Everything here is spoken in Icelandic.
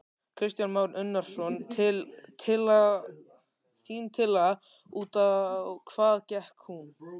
Kristján Már Unnarsson: Þín tillaga, út á hvað gekk hún?